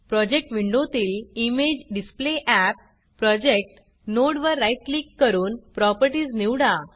project विंडोतील इमेजेडिसप्लेअप project node वर राईट क्लिक करून Propertiesप्रॉपर्टीस निवडा